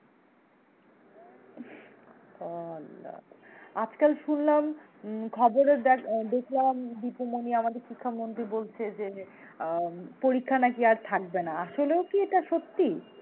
আল্লাহ আজকাল শুনলাম উম খবরে দেখ~ দেখলাম দীপু মনি আমাদের শিক্ষামন্ত্রী বলছে যে, আহ পরীক্ষা নাকি আর থাকবে না, আসলেও কি এটা সত্যি?